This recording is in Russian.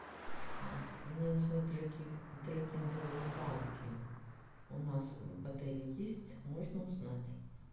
мне нужны трекинговые палки у нас в отеле есть можно узнать